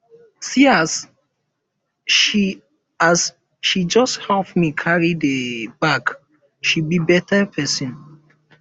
see as um she as um she just help me carry the um bag she be better person